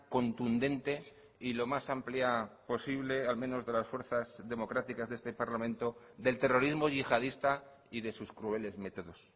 contundente y lo más amplia posible al menos de las fuerzas democráticas de este parlamento del terrorismo yihadista y de sus crueles métodos